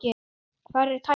Hvar er tæknin?